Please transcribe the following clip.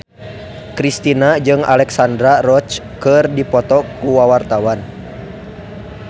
Kristina jeung Alexandra Roach keur dipoto ku wartawan